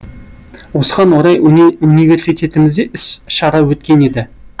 осыған орай университетімізде іс шара өткен еді